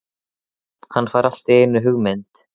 Hann fær allt í einu hugmynd.